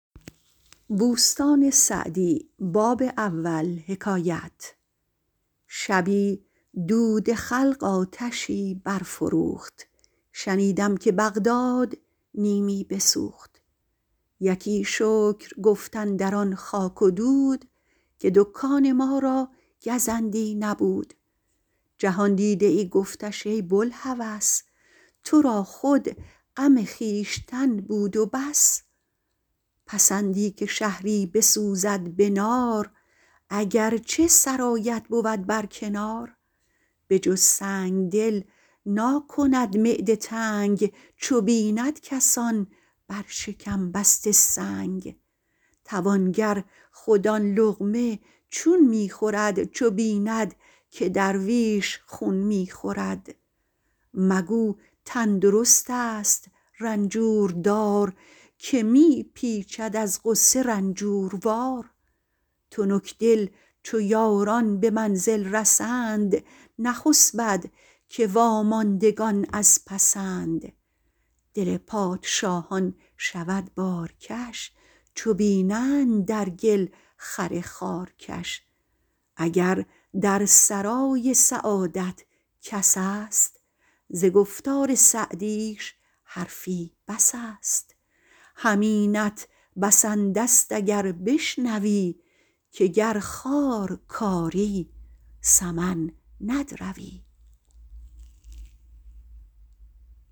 شبی دود خلق آتشی برفروخت شنیدم که بغداد نیمی بسوخت یکی شکر گفت اندران خاک و دود که دکان ما را گزندی نبود جهاندیده ای گفتش ای بوالهوس تو را خود غم خویشتن بود و بس پسندی که شهری بسوزد به نار اگر چه سرایت بود بر کنار به جز سنگدل ناکند معده تنگ چو بیند کسان بر شکم بسته سنگ توانگر خود آن لقمه چون می خورد چو بیند که درویش خون می خورد مگو تندرست است رنجور دار که می پیچد از غصه رنجوروار تنکدل چو یاران به منزل رسند نخسبد که واماندگان از پسند دل پادشاهان شود بارکش چو بینند در گل خر خارکش اگر در سرای سعادت کس است ز گفتار سعدیش حرفی بس است همینت بسنده ست اگر بشنوی که گر خار کاری سمن ندروی